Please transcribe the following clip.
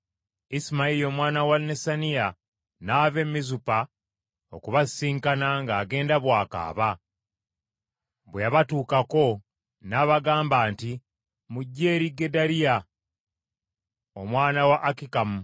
Isimayiri omwana wa Nesaniya n’ava e Mizupa okubasisinkana ng’agenda bw’akaaba. Bwe yabatuukako, n’abagamba nti, “Mujje eri Gedaliya omwana wa Akikamu.”